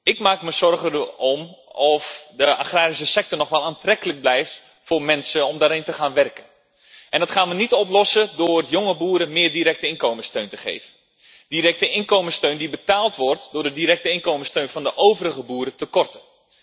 Ik maak me zorgen of de agrarische sector nog wel aantrekkelijk blijft voor mensen om in te gaan werken. Dat gaan we niet oplossen door jonge boeren meer directe inkomenssteun te geven, directe inkomenssteun die betaald wordt door de directe inkomenssteun van de overige boeren te korten.